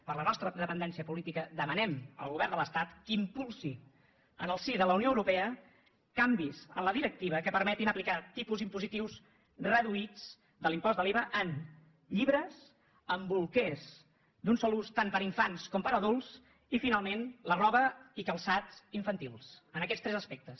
per la nostra dependència política demanem al govern de l’estat que impulsi en el si de la unió eu·ropea canvis en la directiva que permetin aplicar tipus impositius reduïts de l’impost de l’iva en llibres en bolquers d’un sol ús tant per a infants com per a adults i finalment en la roba i calçats infantils en aquests tres aspectes